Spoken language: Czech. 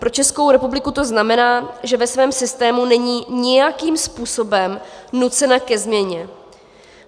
Pro Českou republiku to znamená, že ve svém systému není nijakým způsobem nucena ke změně.